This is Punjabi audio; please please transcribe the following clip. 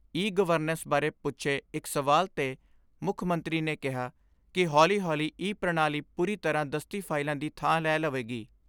ਈ ਗਵਰਨਸ ਬਾਰੇ ਪੁੱਛੇ ਇਕ ਸਵਾਲ ਤੇ ਮੁੱਖ ਮੰਤਰੀ ਨੇ ਕਿਹਾ ਕਿ ਹੌਲੀ ਹੌਲੀ ਈ ਪ੍ਰਣਾਲੀ ਪੂਰੀ ਤਰ੍ਹਾਂ ਦਸਤੀ ਫਾਈਲਾਂ ਦੀ ਥਾਂ ਲੈ ਲਵੇਗੀ।